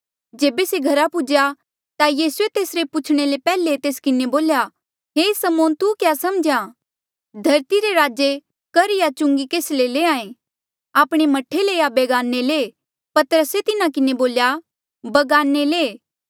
जेबे से घरा पुज्हेया ता यीसूए तेसरे पूछणे ले पैहले तेस किन्हें बोल्या हे समौन तू क्या समझ्हा धरती रे राजा कर या चुंगी केस ले लैंहां ऐें आपणे मह्ठे ले या बगाने ले पतरसे तिन्हा किन्हें बोल्या बगाने ले